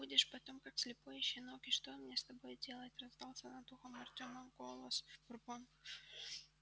будешь потом как слепой щенок и что мне с тобой делать раздался над ухом артёма голос бурбона